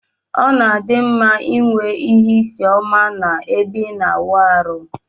Ọna adimma inwe ihe isi ọma na ebe ina awụ arụ.